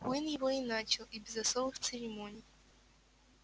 куинн его и начал и без особых церемоний